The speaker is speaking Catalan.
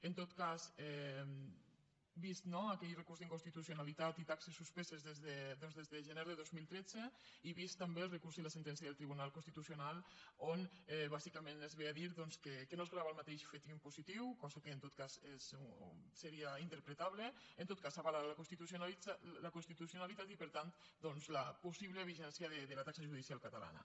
en tot cas vistos no aquell recurs d’inconstitucionalitat i taxes suspeses des de gener de dos mil tretze i vistos també el recurs i la sentència del tribunal constitucional on bàsicament es ve a dir doncs que no es grava el mateix fet impositiu cosa que en tot cas seria interpretable en tot cas se n’avala la constitucionalitat i per tant la possible vigència de la taxa judicial catalana